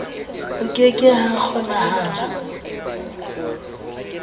ho ke ke ha kgonahala